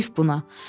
Heyif buna.